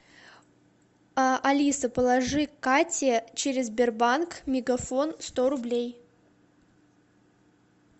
а алиса положи кате через сбербанк мегафон сто рублей